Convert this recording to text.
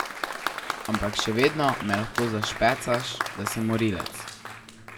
Ampak še vedno me pa lahko zašpecaš, da sem morilec.